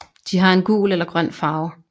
De har en gul eller grøn farve